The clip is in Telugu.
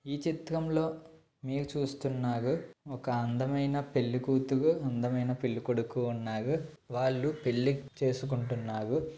ఈ చిత్రంలో మీరు చూస్తున్నారు ఒక అందమైన పెళ్లికూతురు అందమైన పెళ్లి కొడుకు ఉన్నారు వాళ్ళు పెళ్లి చేసుకుంటున్నారు.